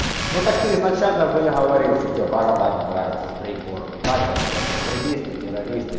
ну так ты изначально бы говорил что тебя борода не нравится сбрей бороду начал блять экстремисты терраристы